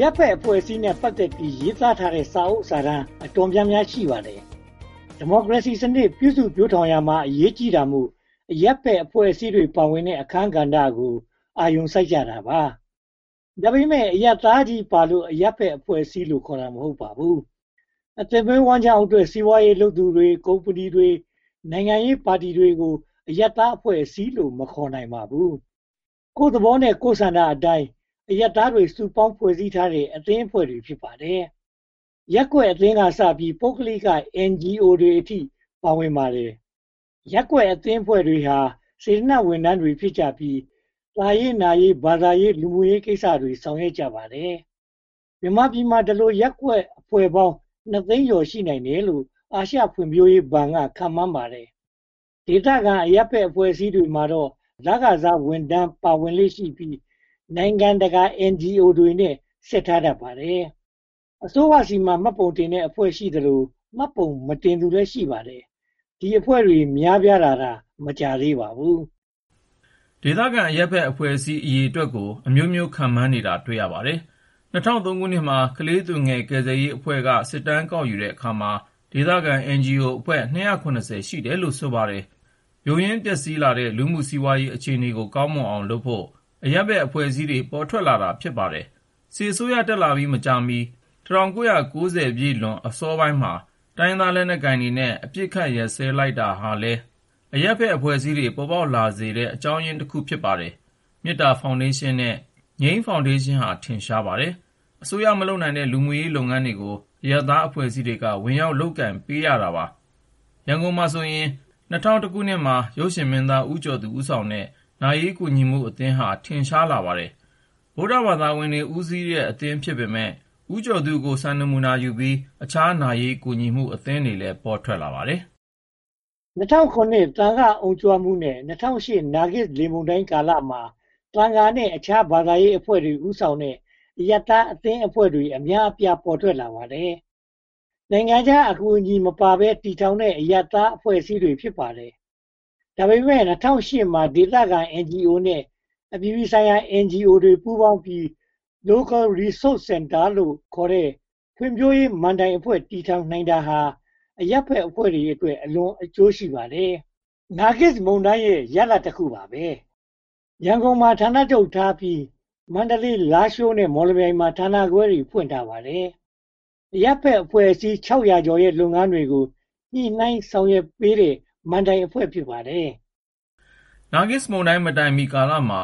ရပ်ဘက်အဖွဲ့အစည်းနဲ့ ပတ်သက်ပြီး ရေးသားထားတဲ့ စာအုပ်စာတမ်းတွေ တော်တော်များများ ရှိပါတယ်။ ဒီမိုကရေစီစနစ် ပြုစုပျိုးထောင်ရာမှာ အရေးကြီးတာမို့ အရပ်ဘက်အဖွဲ့အစည်း ပါဝင်တဲ့ အခန်းကဏ္ဍကို အာရုံစိုက်ကြတာပါ။ ဒါပေမဲ့ အရပ်သားချည်းပါလို့ အရပ်ဘက်အဖွဲ့အစည်းလို့ခေါ်တာ မဟုတ်ပါဘူး။ အသက်မွေးဝမ်းကျောင်းအတွက် စီးပွားရေးလုပ်သူတွေ၊ ကုမ္ပဏီတွေ၊ နိုင်ငံရေးပါတီတွေကို အရပ်သားအဖွဲ့အစည်းလို့ မခေါ်နိုင်ပါဘူး။ ကိုယ့်သဘော ကိုယ့်ဆန္ဒအတိုင်း အရပ်သားတွေ စုပေါင်းဖွဲ့စည်းထားတဲ့ အသင်းအဖွဲ့တွေ ဖြစ်ပါတယ်။ ရပ်ကွက်အသင်းကစပြီး၊ ပုဂ္ဂလိက NGO တွေအထိ ပါဝင်ပါတယ်။ ရပ်ကွက်အဖွဲ့အစည်းတွေဟာ စေတနာဝန်ထမ်းတွေ ဖြစ်ကြပြီး သာရေးနာရေး၊ ဘာသာရေး၊ လူမှုရေးကိစ္စတွေ ဆောင်ရွက်ကြပါတယ်။ မြန်မာပြည်မှာ ဒီလိုရပ်ကွက်အဖွဲ့ပေါင်း နှစ်သိန်းကျော် ရှိနိုင်တယ်လို့ အာရှဖွံ့ဖြိုးမှုဘဏ်က ခန့်မှန်းပါတယ်။ ဒေသခံအရပ်ဘက်အဖွဲ့အစည်းတွေမှာတော့ လခစားဝန်ထမ်းတွေ ပါဝင်လေ့ရှိပြီး နိုင်ငံတကာ NGO တွေနဲ့ ဆက်ထားတတ်ပါတယ်။ အစိုးရဆီမှာ မှတ်ပုံတင်တဲ့အဖွဲ့ရှိသလို မှတ်ပုံမတင်သူလည်း ရှိပါတယ်။ ဒီလိုအဖွဲ့တွေ များပြားလာတာ မကြာသေးပါဘူး။ ဒေသခံအရပ်ဘက်အဖွဲ့အစည်း အရေအတွက်ကို အမျိုးမျိုးခံမှန်းကြတာ တွေ့ရပါတယ်။ ၂၀၀၃ မှာ “ကလေးသူငယ် ကယ်ဆယ်ရေးအဖွဲ့အစည်း” က စစ်တမ်းကောက်ယူတဲ့အခါမှာ ဒေသခံ NGO အဖွဲ့ (၂၇၀) ရှိတယ်လို့ ဆိုပါတယ်။ ယိုယွင်းပျက်စီးလာတဲ့ လူမှုစီးပွားရေး အခြေအနေကို ကောင်းမွန်အောင်လုပ်ဖို့ အရပ်ဘက်အဖွဲ့အစည်းတွေ ပေါ်ထွက်လာတာ ဖြစ်ပါတယ်။ စစ်အစိုးရတက်လာပြီး မကြာမီ ၁၉၉၀ ပြည့်လွန်အစောပိုင်းမှာ တိုင်းရင်းသားလက်နက်ကိုင်တွေနဲ့ အပစ်အခတ်ရပ်စဲလိုက်တာဟာလည်း အရပ်ဘက်အဖွဲ့အစည်း ပေါ်ပေါက်စေတဲ့ အကြောင်းတခု ဖြစ်ပါတယ်။ မေတ္တာဖောင်ဒေးရှင်းနဲ့ ငြိမ်းဖောင်ဒေးရှင်းဟာ ထင်ရှားပါတယ်။ အစိုးရမလုပ်နိုင်တဲ့ လူမှုရေးလုပ်ငန်းတွေကို အရပ်သားအဖွဲ့အစည်းတွေက ဝင်ရောက်လုပ်ကိုင်ပေးတာပါပဲ။ ရန်ကုန်မှာဆိုရင် (၂၀၀၁) မှာ ရုပ်ရှင်မင်းသား ဦးကျော်သူ တည်ထောင်တဲ့ “နာရေးကူညီမှုအသင်း” ဟာ အထင်ရှာဆုံး ဖြစ်ပါတယ်။ ဗုဒ္ဓဘာသာဝင်တွေ ဦးစီးတဲ့ အသင်းဖြစ်ပေမယ့် ဦးကျော်သူကို စံနမူနာယူပြီး အခြားနာရေးကူညီမှုအသင်းတွေလည်း ပေါ်ထွက်လာပါတယ်။ ၂၀၀၇ သံဃာ့အုံကြွမှုနဲ့ ၂၀၀၈ နာဂစ်လေမုန်တိုင်းကာလမှာ သံဃာနဲ့ အခြားဘာသာရေးအဖွဲ့တွေ ဦးဆောင်တဲ့ အရပ်သားအသင်းအဖွဲ့ အများအပြား ပေါ်ထွက်လာပါတယ်။ နိုင်ငံခြားအကူအညီမပါဘဲ တည်ထောင်ထားတဲ့ အရပ်သားအဖွဲ့အစည်းတွေ ဖြစ်ပါတယ်။ ဒါပေမဲ့ ၂၀၀၈ မှာ ဒေသခံ NGO နဲ့ အပြည်ပြည်ဆိုင်ရာ NGO တွေ ပူးပေါင်းပြီး Local Resource Center ခေါ် ဖွံ့ဖြိုးရေးမဏ္ဍိုင်အဖွဲ့ တည်ထောင်နိုင်တာဟာ အရပ်ဘက်အဖွဲ့တွေအတွက် အလွန်အကျိုးရှိပါတယ်။ နာဂစ်မုန်တိုင်းရဲ့ ရလဒ်တခုပါပဲ။ ရန်ကုန်မှာ ဌာနချုပ်ထားပြီး မန္တလေး၊ လာရှိုးနဲ့ မော်လမြိုင်တို့မှာ ဌာနခွဲတွေ ဖွင့်ထားပါတယ်။ အရပ်ဘက်အဖွဲ့အစည်း (၆၀၀) ကျော်ရဲ့ လုပ်ငန်းတွေကို ညှိနှိုင်းဆောင်ရွက်ပေးနေတဲ့ မဏ္ဍိုင်အဖွဲ့အစည်း ဖြစ်ပါတယ်။ နာဂစ်မုန်တိုင်းမတိုင်မီကာလမှာ